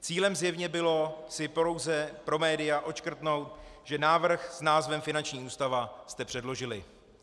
Cílem zjevně bylo si pouze pro média odškrtnout, že návrh s názvem finanční ústava jste předložili.